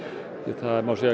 það má segja